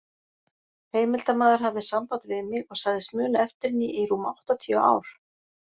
Heimildarmaður hafði samband við mig og sagðist muna eftir henni í rúm áttatíu ár.